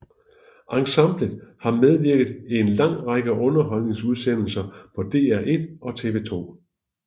Ensemblet har medvirket i en lang række underholdningsudsendelser på DR1 og TV2